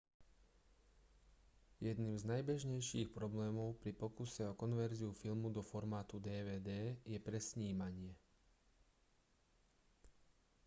jedným z najbežnejších problémov pri pokuse o konverziu filmu do formátu dvd je presnímanie